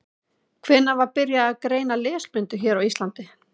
Hvenær var byrjað að greina lesblindu hér á Íslandi?